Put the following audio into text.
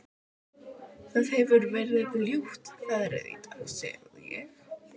Það hefir verið ljóta veðrið í dag sagði ég.